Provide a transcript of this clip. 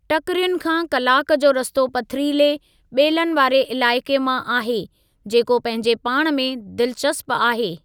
टकिरियुनि खां कलाकु जो रस्तो पथरीले, ॿेलनि वारे इलाइक़े मां आहे, जेको पंहिंजे पाण में दिलचस्प आहे।